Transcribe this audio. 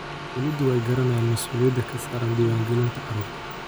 Waalidiintu way garanayaan mas'uuliyadda ka saaran diiwaangelinta carruurta.